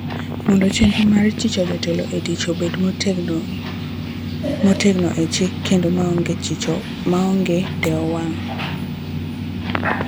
mondo chenro mar thicho jotelo e tich obed motegno e chik kendo maonge dewo wang'."